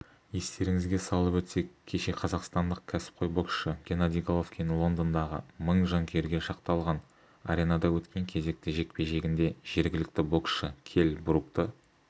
естеріңізге салып өтсек кеше қазақстандық кәсіпқой боксшы геннадий головкин лондондағы мың жанкүйерге шақталған аренада өткен кезекті жекпе-жегінде жергілікті боксшы келл брукты